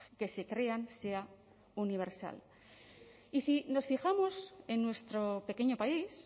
que se crean sea universal y si nos fijamos en nuestro pequeño país